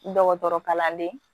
Dɔgɔtɔrɔ kalanden